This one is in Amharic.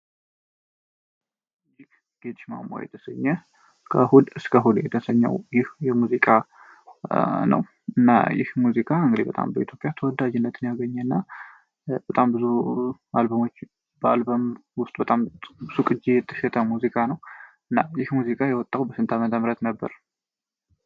የሙዚቃ ነው እና ሙዚቃ ተወዳጅን ያገኘና በጣም ብዙ አልበሞች በጣም ሙዚቃ ነው እና ሙዚቃ የወጣሁ በስንት አመተ ምህረት ነበር?